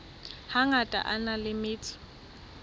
hangata a na le metso